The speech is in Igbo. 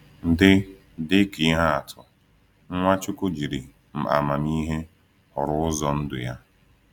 Dị Dị ka ihe atụ, Nwachukwu jiri amamihe họrọ ụzọ ndụ ya.